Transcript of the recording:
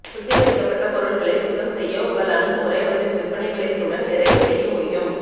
சுத்திகரிக்கப்பட்ட பொருள்களை சுத்தம் செய்ய உங்கள் அணுகுமுறை அவற்றின் விற்பனை விலைகளுடன் நிறைய செய்ய முடியும்